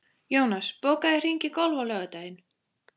Jónas, bókaðu hring í golf á laugardaginn.